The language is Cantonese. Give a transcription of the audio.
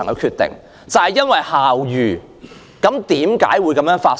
他們因為校譽而選擇不報警。